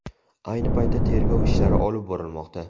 Ayni paytda tergov ishlari olib borilmoqda.